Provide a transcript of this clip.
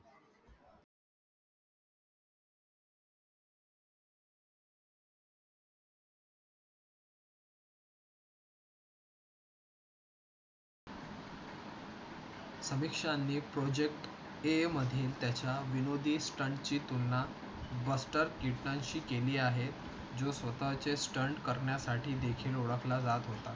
समीक्षा आणि project A मध्ये त्याच्या विनोदी stunt ची तुलना बस्टर कीटन शी केली आहे. जो स्वतः चे stunt करण्यासाठी देखील ओळख ला जात होता.